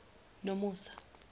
nomusa